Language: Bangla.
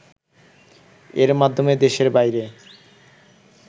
এর মাধ্যমে দেশের বাইরে